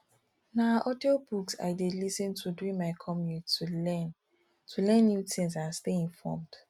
na audiobooks i dey lis ten to during my commute to learn to learn new things and stay informed